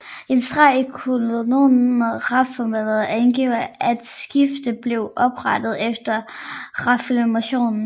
En streg i kolonnen Reformeret angiver at stiftet blev oprettet efter reformationen